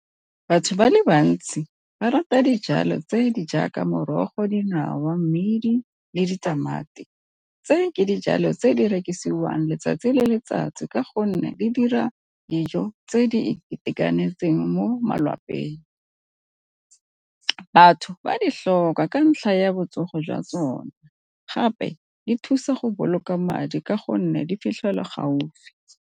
Batho ba le bantsi ba rata dijalo tse di jaaka morogo, dinawa, mmidi, le ditamati tse ke dijalo tse di rekisiwang letsatsi le letsatsi ka gonne di dira dijo tse di itekanetseng mo malapeng. Batho ba di tlhoka ka ntlha ya botsogo jwa tsone gape di thusa go boloka madi ka gonne di fitlhelwa gaufi.